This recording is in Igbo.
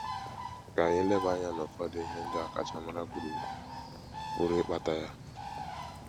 Ka anyị leba anya n’ụfọdụ ihe ndị ọkachamara kwuru pụrụ ịkpata ya.